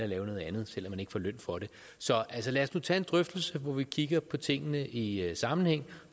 lave noget andet selv om man ikke får løn for det så lad os nu tage en drøftelse hvor vi kigger på tingene i sammenhæng